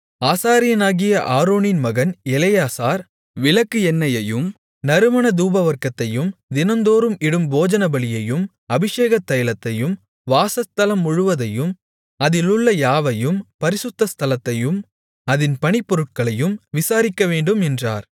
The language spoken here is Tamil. ஆசாரியனாகிய ஆரோனின் மகன் எலெயாசார் விளக்குக்கு எண்ணெயையும் நறுமண தூபவர்க்கத்தையும் தினந்தோறும் இடும் போஜனபலியையும் அபிஷேகத் தைலத்தையும் வாசஸ்தலம் முழுவதையும் அதிலுள்ள யாவையும் பரிசுத்த ஸ்தலத்தையும் அதின் பணிப்பொருட்களையும் விசாரிக்கவேண்டும் என்றார்